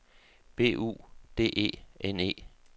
B U D E N E